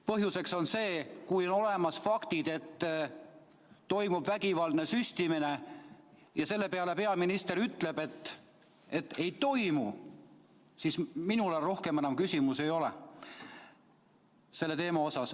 Põhjuseks on see, et kui on olemas faktid, et toimub vägivaldne süstimine, ja selle peale peaminister ütleb, et ei toimu, siis minul rohkem enam küsimusi ei ole selle teema kohta.